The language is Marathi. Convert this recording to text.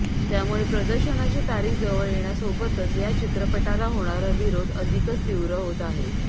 त्यामुळे प्रदर्शनाची तारीख जवळ येण्यासोबतच या चित्रपटाला होणारा विरोध अधिकच तीव्र होत आहे